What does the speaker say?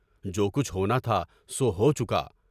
جو کچھ ہونا تھا سو ہو چکا۔